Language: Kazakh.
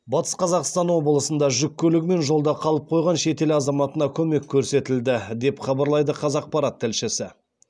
батыс қазақстан облысында жүк көлігімен жолда қалып қойған шетел азаматына көмек көрсетілді деп хабарлайды қазақпарат тілшісі